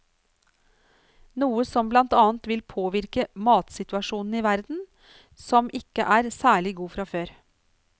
Noe som blant annet vil påvirke matsituasjonen i verden, som ikke er særlig god fra før.